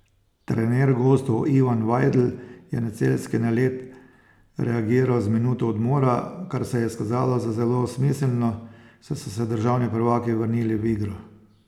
Trener gostov Ivan Vajdl je na celjski nalet reagiral z minuto odmora, kar se je izkazalo za zelo smiselno, saj so se državni prvaki vrnili v igro.